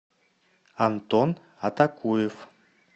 антон атакуев